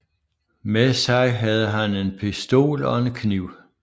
Med sig havde han en pistol og en kniv